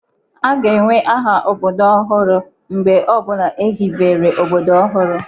A ga-enwe aha obodo ọhụrụ mgbe ọ bụla ehibere obodo ọhụrụ.